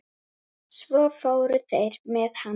Svo fóru þeir með hann.